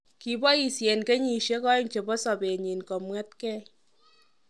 Kiboisien kenyisieg oeng chebo sobenyon kemwetegei.